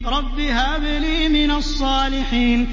رَبِّ هَبْ لِي مِنَ الصَّالِحِينَ